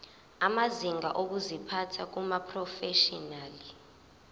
amazinga okuziphatha kumaprofeshinali